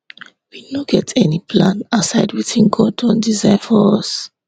we no get any plan aside wetin god don design for us